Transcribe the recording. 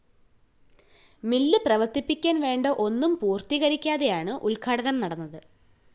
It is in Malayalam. മിൽ പ്രവര്‍ത്തിപ്പിക്കാന്‍ വേണ്ട ഒന്നും പൂര്‍ത്തീകരിക്കാതെയാണ് ഉദ്ഘാടനം നടന്നത്